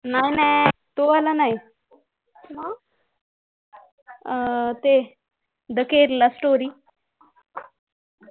नाही नाही तो वाला नाही हम्म ते दि केरलास्टोरी